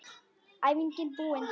Æfingin búin!